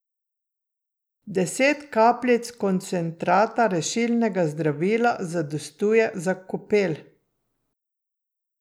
Deset kapljic koncentrata rešilnega zdravila zadostuje za kopel.